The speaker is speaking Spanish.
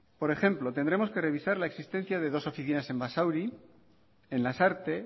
por ejemplo tendremos que revisar la existencia de dos oficinas de lanbide en basauri en lasarte